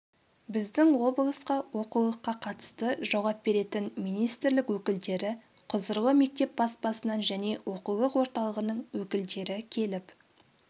біздің облысқа оқулыққа қатысты жауап беретін министрлік өкілдері құзырлы мектеп баспасынан және оқулық орталығының өкілдері келіп